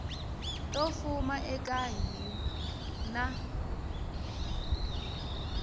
to fuma eka hiv na